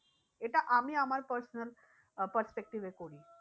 এটা আমি আমার personal আহ perspective এ করি।